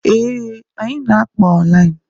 Ee, anyị na-akpa online.